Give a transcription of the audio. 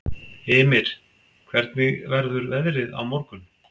Ymir, hvernig verður veðrið á morgun?